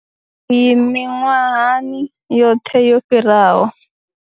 Iyi miṅwahani yoṱhe yo fhiraho.